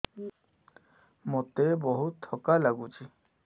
ମୋତେ ବହୁତ୍ ଥକା ଲାଗୁଛି